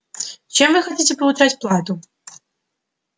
чем вы хотите получать плату